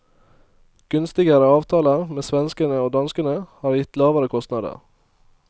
Gunstigere avtaler med svenskene og danskene har gitt lavere kostander.